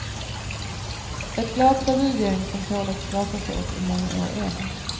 Ett glatt revygäng som tål att skrattas åt i många år än.